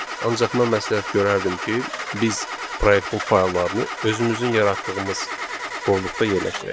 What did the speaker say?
Ancaq mən məsləhət görərdim ki, biz proyektin fayllarını özümüzün yaratdığımız qovluqda yerləşdirək.